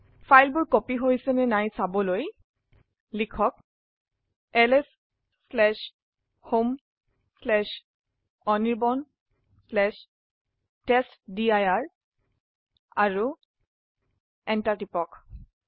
ফাইলবোৰ কপি হৈছে নে নাই চাবলৈ লিখক lshomeanirbanটেষ্টডিৰ আৰু Enter টিপক